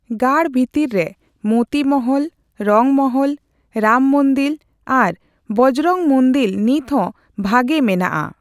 ᱜᱟᱲ ᱵᱷᱤᱛᱤᱨ ᱨᱮ ᱢᱳᱛᱤ ᱢᱚᱦᱚᱞ, ᱨᱚᱝ ᱢᱚᱦᱚᱞ, ᱨᱟᱢ ᱢᱚᱫᱤᱞ ᱟᱨ ᱵᱚᱡᱽᱨᱚᱝ ᱢᱩᱫᱤᱞ ᱱᱤᱛᱦᱚᱸ ᱵᱷᱟᱜᱮ ᱢᱮᱱᱟᱜᱼᱟ ᱾